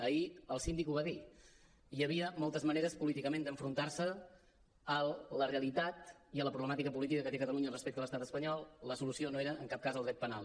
ahir el síndic ho va dir hi havia moltes maneres políticament d’enfrontar se a la realitat i a la problemàtica política que té catalunya respecte a l’estat espanyol la solució no era en cap cas el dret penal